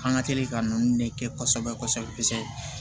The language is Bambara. An ka teli ka ninnu de kɛ kosɛbɛ kosɛbɛ